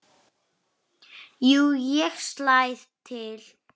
Jú, ég slæ til